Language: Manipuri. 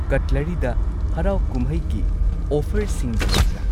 ꯀꯠꯂꯔꯤꯗ ꯍꯔꯥꯎ ꯀꯨꯝꯍꯩꯒꯤ ꯑꯣꯐꯔꯁꯤꯡꯒ ꯂꯩꯕ꯭ꯔꯥ?